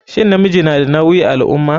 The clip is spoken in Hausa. Shin namiji na da nawi a alummah?